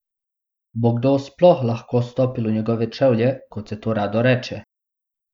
Bo kdo sploh lahko stopil v njegove čevlje, kot se to rado reče?